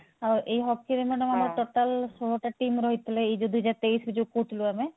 ଆଉ ଏଇ hockey ରେ madam ଆମର total ଗୋଟେ team ରହିଥିଲେ ଏଇ ଯଉ ଦୁଇ ହଜାର ତେଇଶ ଯଉ କହୁଥିଲୁ ଆମେ